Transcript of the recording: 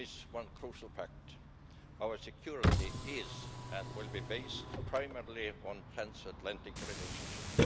one crucial fact our security is and will be based primarily on transatlantic relationships.